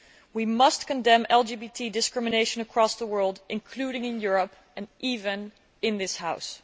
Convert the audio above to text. We must condemn LGBT discrimination across the world, including in Europe and even in this House.